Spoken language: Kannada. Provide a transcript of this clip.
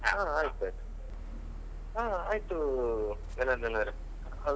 ಹಾ ಆಯ್ತ್ ಆಯ್ತು ಹಾ ಆಯ್ತೂ ಜನಾರ್ದನ್ ಅವ್ರೆ ಅವರದೊಂದು.